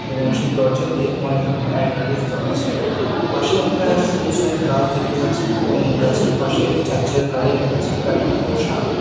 এবং সেই দরজাতে অনেক রকম এডভার্টাইজ দেওয়া আছে পাশে একটা সবুজ রঙের গাছ দেখতে পাচ্ছি এবং গাছের পাশে একটা চারচাকা গাড়ি রাখা আছে গাড়িটির রং সাদা।